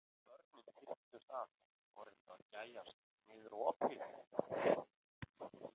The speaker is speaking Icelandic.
Börnin þyrptust að og reyndu að gægjast niður um opið.